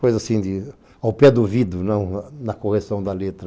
Coisa assim, ao pé do ouvido, não na correção da letra.